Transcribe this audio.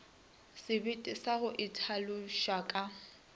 sebete sa go itlhaloša ka